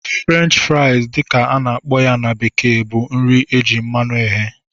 French fries dị ka a na-akpọ na bekee bụ nri eji mmanụ eghe